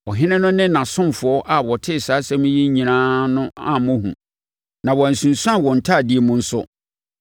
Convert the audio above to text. Ɔhene no ne nʼasomfoɔ a wɔtee saa nsɛm yi nyinaa no ammɔ hu, na wɔansunsuane wɔn ntadeɛ mu nso.